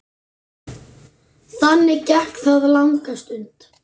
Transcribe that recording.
Þannig gekk það langa stund.